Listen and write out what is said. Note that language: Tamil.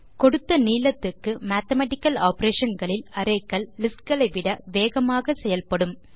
கொடுத்த நீளத்துக்கு மேத்தமேட்டிக்கல் ஆப்பரேஷன் களில் அரே கள் listகளை விட வேகமாக செயல்படும்